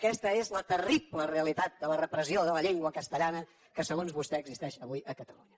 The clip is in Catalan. aquesta és la terrible realitat de la repressió de la llengua castellana que segons vostè existeix avui a catalunya